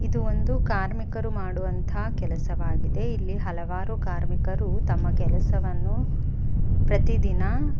ಇದು ಒಂದು ಕಾರ್ಮಿಕರು ಮಾಡುವಂತ ಕೆಲಸವಾಗಿದೆ ಇಲ್ಲಿ ಹಲವಾರು ಕಾರ್ಮಿಕರು ತಮ್ಮ ಕೆಲಸವನ್ನು ಪ್ರತಿದಿನ --